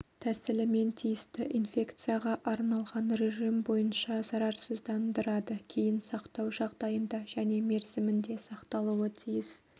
тәсілімен тиісті инфекцияға арналған режим бойынша зарарсыздандырады кейін сақтау жағдайында және мерзімінде сақталуы тиіс